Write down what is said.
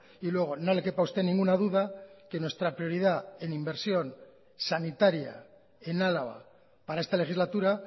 y luego no le quepa a usted ninguna duda que nuestra prioridad en inversión sanitaria en álava para esta legislatura